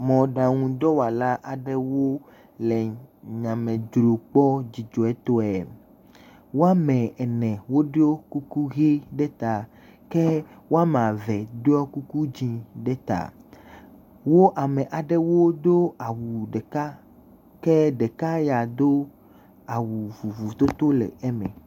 Mɔɖanudɔwɔla aɖewo le nya me dzrom kpɔ dzidzɔtɔe wo ame ene woɖɔ kuku ɣi ɖe ta ke wo ame eve ɖɔ kuku dzĩ ɖe ta wo ame aɖewo do awu ɖeka ke ɖeka ya do awu vovototo le eme